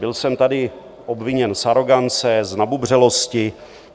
Byl jsem tady obviněn z arogance, z nabubřelosti.